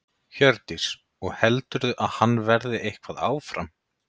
Hjördís: Og heldurðu að hann verði eitthvað áfram?